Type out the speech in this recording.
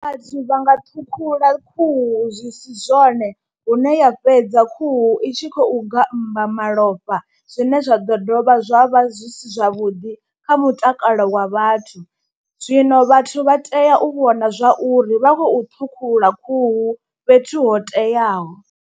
Vhathu vha nga ṱhukhula khuhu zwi si zwone hune ya fhedza khuhu i tshi khou gammba malofha zwine zwa ḓo dovha zwa vha zwi si zwavhuḓi kha mutakalo wa vhathu, zwino vhathu vha tea u vhona zwa uri vha khou ṱhukhula khuhu fhethu ho teaho.